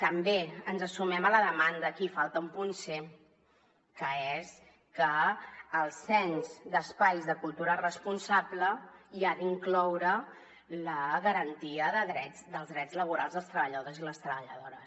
també ens sumem a la demanda aquí hi falta un punt c que és que el cens d’espais de cultura responsable ha d’incloure la garantia dels drets laborals dels treballadors i les treballadores